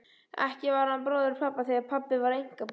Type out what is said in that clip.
Ekki var hann bróðir pabba, því að pabbi var einkabarn.